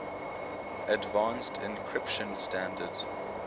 advanced encryption standard